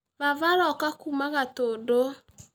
Baba aroka kuuma Gatũndũ